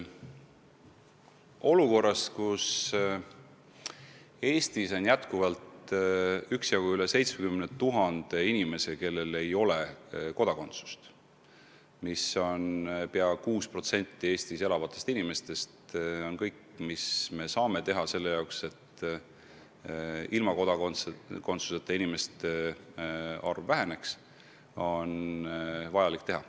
Olukorras, kus Eestis on üle 70 000 inimese, kellel ei ole kodakondsust – see on pea 6% Eestis elavatest inimestest –, tuleb teha kõik, mis võimalik, et kodakondsuseta inimeste arv väheneks.